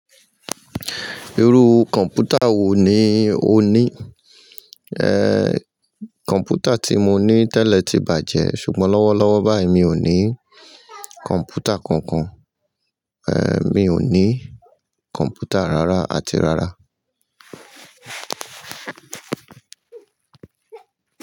Irú kọ̀npútà wò ní ò ní? Ẹ̀, kọ̀mpútà tí mo ní tẹ́lẹ̀ ti bàjẹ́ ṣùgbọ́n lọ́wọ́lọ́wọ́ báyìí mi ò ní kọ̀mpútà kankan. Ẹ̀, mi ò ní kọ̀mpútà rárá àti rárá.